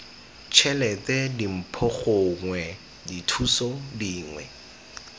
tšhelete dimpho gongwe dithuso dingwe